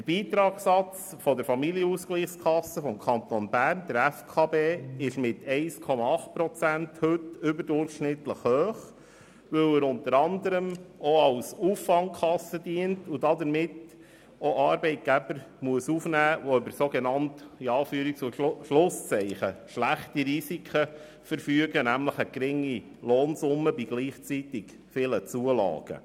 Der Beitragssatz der Familienausgleichskasse des Kantons Bern (FKB) ist mit 1,8 Prozent heute überdurchschnittlich hoch, weil er unter anderem auch als Auffangkasse dient und dadurch auch Arbeitgeber aufnehmen muss, die über sogenannt schlechte Risiken verfügen, nämlich eine geringe Lohnsumme bei gleichzeitig vielen Zulagen.